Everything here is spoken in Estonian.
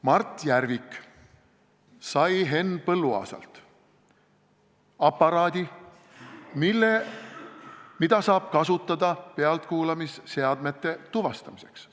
Mart Järvik sai Henn Põlluaasalt aparaadi, mida saab kasutada pealtkuulamisseadmete tuvastamiseks.